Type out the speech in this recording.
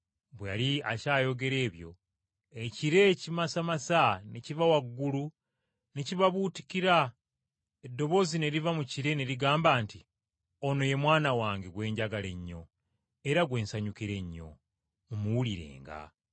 Bwe yali akyayogera ebyo ekire ekimasamasa ne kiva waggulu ne kibabuutikira eddoboozi ne liva mu kire ne ligamba nti, “Ono ye Mwana wange gwe njagala ennyo, era gwe nsanyukira ennyo. Mumuwulirenga.”